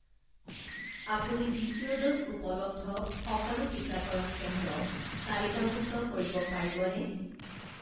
আপুনি দ্বিতীয় ড'জ উপলব্ধ সকলো টিকাকৰণ কেন্দ্ৰ তালিকাভুক্ত কৰিব পাৰিবনে?